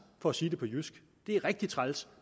for at sige det på jysk det er rigtig træls